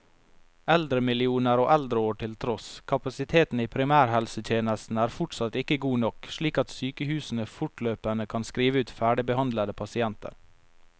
Eldremillioner og eldreår til tross, kapasiteten i primærhelsetjenesten er fortsatt ikke god nok, slik at sykehusene fortløpende kan skrive ut ferdigbehandlede pasienter.